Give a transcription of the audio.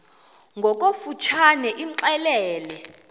ngokofu tshane imxelele